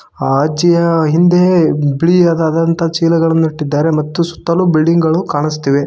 ಅ ಅಜ್ಜಿಯ ಹಿಂದೆ ಬಿಳಿಯದಾದಂತಹ ಚೀಲಗಳನ್ನು ಇಟ್ಟಿದ್ದಾರೆ ಮತ್ತು ಸುತ್ತಲು ಬಿಲ್ಡಿಂಗ್ ಗಳು ಕಾಣುಸ್ತಿವೆ.